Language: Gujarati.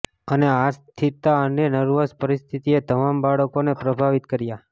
અને આ અસ્થિરતા અને નર્વસ પરિસ્થિતિએ તમામ બાળકોને પ્રભાવિત કર્યા